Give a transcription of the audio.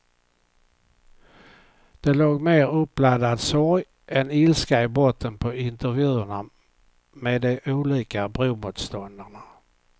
Det låg mer uppladdad sorg än ilska i botten på intervjuerna med de olika bromotståndarna.